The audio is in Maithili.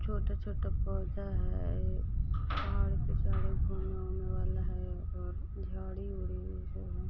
छोटे-छोटे पौधा है पहाड़ पर चढ़ वाला है और झाड़ी वाडी है|